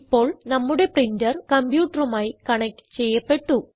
ഇപ്പോൾ നമ്മുടെ പ്രിന്റർ കംപ്യൂട്ടറുമായി കണക്റ്റ് ചെയ്യപ്പെട്ടു